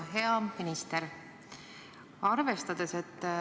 Hea minister!